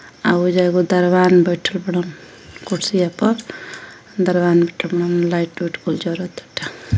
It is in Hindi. आ ओइजा एगो दरवान बइठल बाड़न कुर्सिया पर। दरवान बइठल बाड़न लाइट ओइट कुल जरताटे।